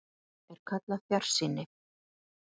Þetta er kallað fjarsýni.